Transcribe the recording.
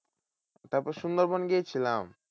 তারপর সুন্দরবন গিয়েছিলাম।